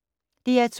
DR2